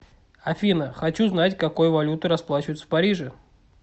афина хочу знать какой валютой расплачиваются в париже